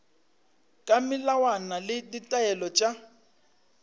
ka melawana le ditaelo tša